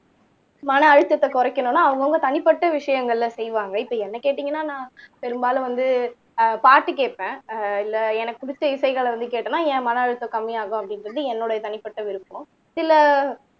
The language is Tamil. மன அழுத்தத்தை குறைக்கணும்னு அவங்கவங்க தனிப்பட்ட விஷயங்கள்ல செய்வாங்க இப்ப என்னை கேட்டீங்கன்னா நான் பெரும்பாலும் வந்து ஆஹ் பாட்டு கேட்பேன் ஆஹ் இல்லைஎனக்குப் பிடிச்ச இசைகள்ல வந்து கேட்டேன்னா என் மன அழுத்தம் கம்மியாகும் அப்படின்னு சொல்லி என்னுடைய தனிப்பட்ட விருப்பம் சில